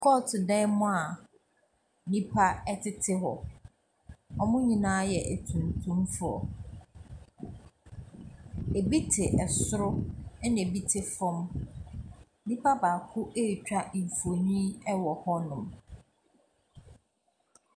Kɔɔt dan mu a nipa ɛtete hɔ. Wɔmo nyinaa yɛ atuntum foɔ. Ebi te ɛsoro ɛna ebi te fɔm. Nipa baako etwa mfoni ɛwɔ hɔnom.